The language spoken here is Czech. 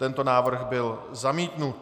Tento návrh byl zamítnut.